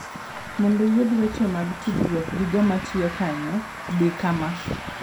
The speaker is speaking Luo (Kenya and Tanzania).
Mondo iyud weche mag tudruok gi joma tiyo kanyo, di kama.